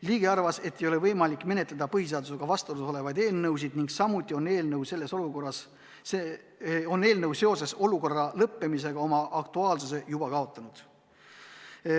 Ligi arvas, et ei ole võimalik menetleda põhiseadusega vastuolus olevaid eelnõusid, samuti on eelnõu seoses eriolukorra lõppemisega oma aktuaalsuse juba kaotanud.